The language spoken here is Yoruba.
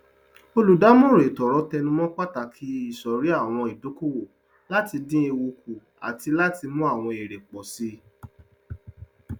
olùdámọràn etoọrọ tẹnumọ pàtàkì isọrí àwọn ìdókòwò láti dín ewu kù àti láti mú àwọn èrè pọ síi